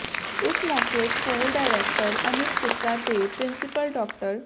ਇਸ ਮੌਕੇ school director Anuj Gupta ਤੇ ਪਿ੍ਰੰਸੀਪਲ ਡਾ